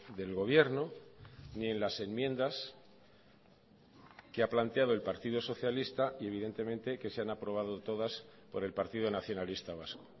del gobierno ni en las enmiendas que ha planteado el partido socialista y evidentemente que se han aprobado todas por el partido nacionalista vasco